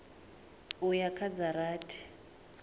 u ya kha dza rathi